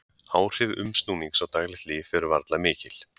Áhrif umsnúnings á daglegt líf eru varla mikil.